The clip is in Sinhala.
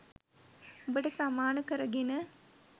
උඹට සමාන කරගෙන.